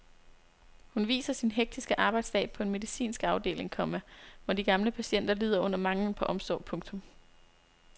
Hun viser sin hektiske arbejdsdag på en medicinsk afdeling, komma hvor de gamle patienter lider under manglen på omsorg. punktum